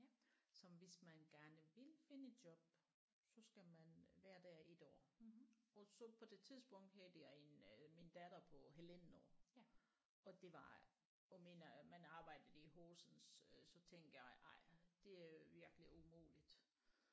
Som hvis man gerne vil finde et job så skal man være der 1 år og så på det tidspunkt havde jeg en min datter på halvandet år og det var og mener at man arbejdede i Horsens øh så tænkte jeg nej det er virkelig umuligt